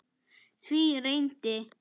Því reyndi